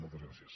moltes gràcies